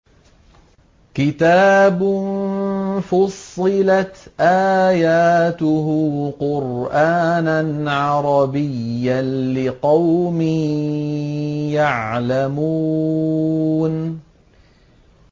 كِتَابٌ فُصِّلَتْ آيَاتُهُ قُرْآنًا عَرَبِيًّا لِّقَوْمٍ يَعْلَمُونَ